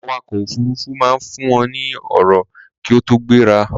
Awakọ̀ òfurufú máa ń fún wọn ní ọ̀rọ̀ kí ó tó gbéra